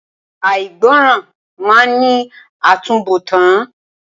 Àìgbọràn máa ní àtúnbọ̀tán.